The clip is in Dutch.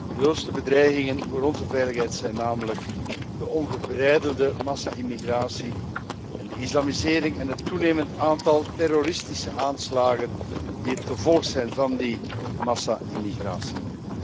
De grootste bedreigingen voor onze veiligheid zijn namelijk de ongebreidelde massa immigratie en de islamisering en het toenemend aantal terroristische aanslagen die het gevolg zijn van die massa immigratie.